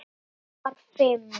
Klukkan var fimm.